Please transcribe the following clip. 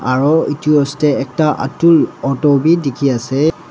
aro etu dae atul auto bhi dekhe ase.